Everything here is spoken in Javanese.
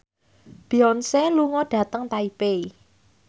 Beyonce lunga dhateng Taipei